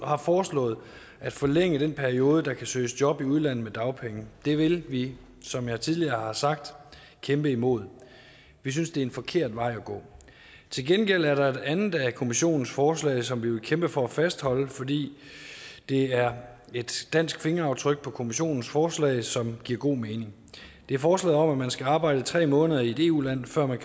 har foreslået at forlænge den periode hvori der kan søges job i udlandet med dagpenge det vil vi som jeg tidligere har sagt kæmpe imod vi synes det er en forkert vej at gå til gengæld er der et andet af kommissionens forslag som vi vil kæmpe for at fastholde fordi det er et dansk fingeraftryk på kommissionens forslag som giver god mening det er forslaget man skal arbejde tre måneder i et eu land før man